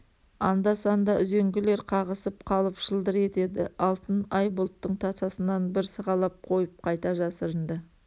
анда-санда үзеңгілер қағысып қалып шылдыр етеді алтын ай бұлттың тасасынан бір сығалап қойып қайта жасырынды